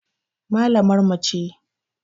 Mallamar mu ce.